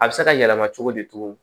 A bɛ se ka yɛlɛma cogo di cogo min